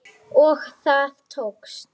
Og það tókst.